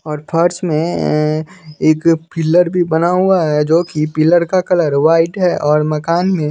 और फर्स में एक पिलर भी बना हुआ है जो कि पिलर का कलर वाइट है और मकान में --